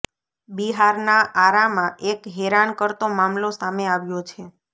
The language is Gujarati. બિહારના આરા માં એક હેરાન કરતો મામલો સામે આવ્યો છે